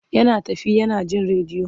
Yana tafe yana jin rediyo.